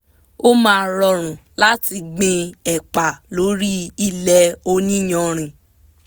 ó máa rọrùn láti gbin ẹ̀pà lórí ilẹ̀ oní iyanrìn